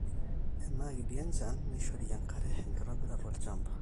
tenaa kiti enchan neishori enkare. enktobirata olchamba